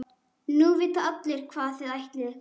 Nú vita allir hvað þið ætlið ykkur.